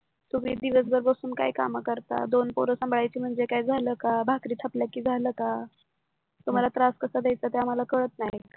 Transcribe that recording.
तुम्ही दिवसभर बसून काय काम करता दोन पोरं सांभाळायची म्हणजे झालं का भाकरी छापल्या की झालं का तुम्हाला त्रास कसा देयचा आम्हाला कळत नाही का